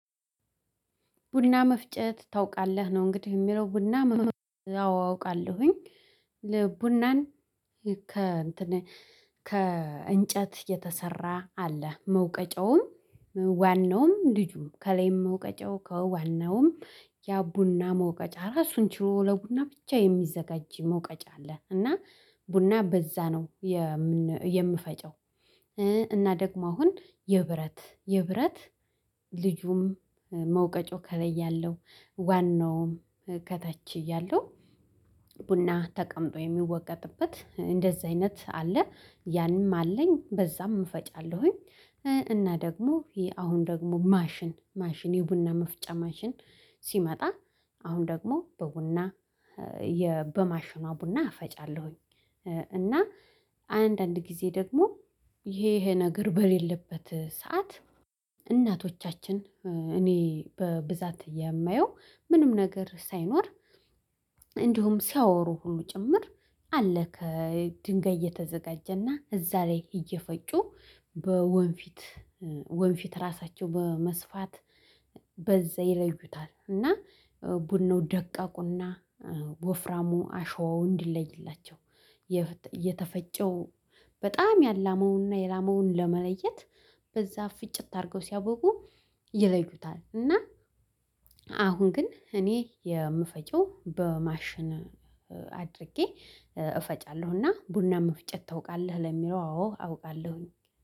ቡና መፍጨት ታውቃለህ? ነው እንግዲህ የሚለው ቡና መፍጨት አዎ አውቃለሁኝ። ቡናን ከእንጨት የተሰራ አለ። መውቀጫውም ዋናውም ልጁም ከላይም መውቀጫው ከዋናውም ያ ቡና መውቀጫ ራሱን ችሎ ለቡና ብቻ የሚዘጋጅ መውቀጫ አለ። እና ቡና በዛ ነው የምፈጨው። እና ደግሞ አሁን የብረት የብረት ልጁም መውቀጫው ከላይ ያለው ዋናውም ከታች እያለው ቡና ተቀምጦ የሚወቀጥበት እንደዚህ አይነት አለ። ያንም አለኝ በዛም እፈጫለሁኝ። እና ደግሞ ይሄ አሁን ደግሞ ማሽን ማሽን የቡና መፍጫ ማሽን ሲመጣ አሁን ደግሞ በቡና የ በማሽኗ ቡና አፈጫለሁኝ። እና አንዳንድ ጊዜ ደግሞ ይሄ ይሄ ነገር በሌለበት ሰዓት እናቶቻችን እኔ በብዛት የማየው ምንም ነገር ሳይኖር እንዲሁም ሲያወሩ ሁሉ ጭምር አለ ከድንጋይ እየተዘጋጀና እዛ ላይ እየፈጩ በወንፊት ወንፊት ራሳቸው በመስፋት በዛ ይለዩታ። እና ቡናው ደቀቁና ወፍራሙ አሸዋው እንዲለይላቸው። የተፈጨው በጣም ያላመውንና የላመውን ለመለየት በዛ ፍጭት አድርገው ሲያበቁ። ይለዩታል እና አሁን ግን እኔ የምፈጪው በማሽን አድርጌ እና ቡና መፍጨት ታውቃለ? ለሚለው አዎ፣ አውቃለሁኝ።